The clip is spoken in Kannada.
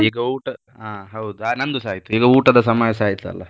ಈಗ ಊಟ, ಹಾ ಹೌದು ಆ ನಮ್ದುಸಾ ಆಯ್ತು ಈಗ ಊಟದ ಸಮಯಸಾ ಆಯ್ತ್ ಅಲ್ಲ.